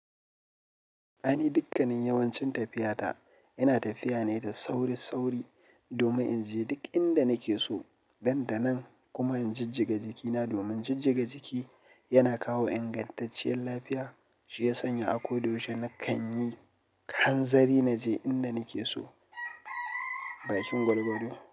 Aini dukkanin yawancin tafiya ta ina tafiya ne da sauri-sauri domin in je duk inda nake so. Ɗan da nan kuma injijjigaga jikina domin jijjiga jiki yana kawo ingantacciyar lafiya shiya sanya akoda yaushe na kan yi. Han zari naje inda nake so, bakin gwal-gwal.